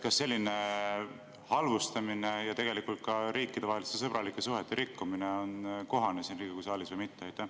Kas selline halvustamine ja tegelikult ka riikidevaheliste sõbralike suhete rikkumine on kohane Riigikogu saalis või mitte?